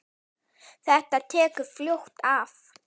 Þetta tekur fljótt af.